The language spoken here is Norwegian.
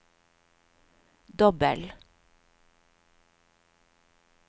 dobbel